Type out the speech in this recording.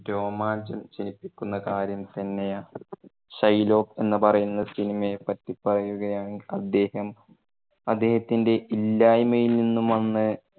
രോമാഞ്ചം ജനിപ്പിക്കുന്ന കാര്യം തന്നെയാണ്. ഷൈലോക്ക് എന്ന് പറയുന്ന സിനിമയെ പറ്റി പറയുകയാണെങ്കിൽ അദ്ദേഹം അദ്ദേഹത്തിന്റെ ഇല്ലായിമയിൽ നിന്നും വന്ന്